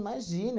Imagina